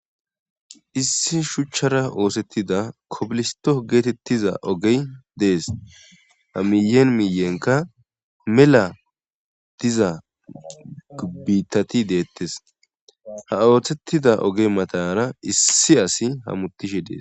Issi shuchchara oosettida kobilisto geetettiza ogey dees ha miyen miyenka mela diza gubbitati deettes ha ooththettida ogey matanara issi asi ha mutishe dees.